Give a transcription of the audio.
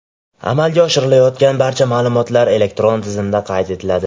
Amalga oshirilayotgan barcha ma’lumotlar elektron tizimda qayd etiladi.